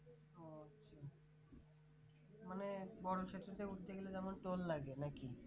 মানে বড় সেতুতে উঠতে গেলে যেমন toll লাগে নাকি